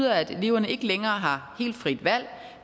at eleverne ikke længere har helt frit valg